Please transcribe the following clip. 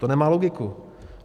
To nemá logiku.